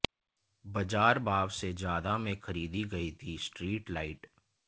बाजार भाव से ज्यादा में खरीदी गई थी स्ट्रीट लाइट